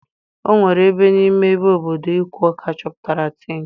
Onwere ebe n'ime ime obodo Ikwo ka achoputara Tin.